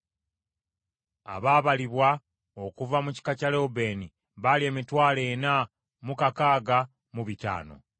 Abaabalibwa okuva mu kika kya Lewubeeni baali emitwalo ena mu kakaaga mu bitaano (46,500).